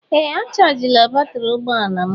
Ee a chajila batrị ụgbọ ala m.